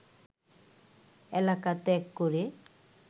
এলাকা ত্যাগ করে